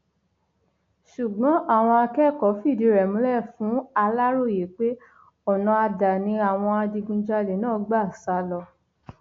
ṣùgbọn àwọn akẹkọọ fìdìí rẹ múlẹ fún aláròye pé ọnà ada ni àwọn adigunjalè náà gbà sá lọ